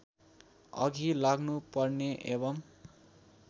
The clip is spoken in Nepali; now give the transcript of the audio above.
अघि लाग्नुपर्ने एवं